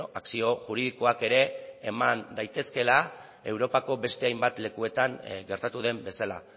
akzio juridikoak ere eman daitezkeela europako beste hainbat lekuetan gertatu den bezala